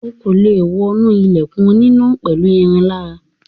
O kò lè wọnú ilẹ̀kùn oníná pẹ̀lú irin lára.